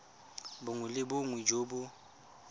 bongwe le bongwe jo bo